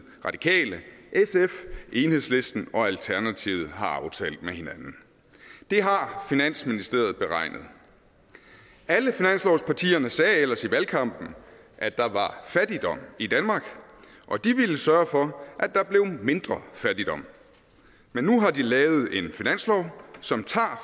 radikale sf enhedslisten og alternativet har aftalt med hinanden det har finansministeriet beregnet alle finanslovspartierne sagde ellers i valgkampen at der var fattigdom i danmark og de ville sørge for at der blev mindre fattigdom men nu har de lavet en finanslov som tager